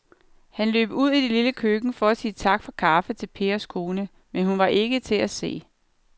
Han løb ud i det lille køkken for at sige tak for kaffe til Pers kone, men hun var ikke til at se.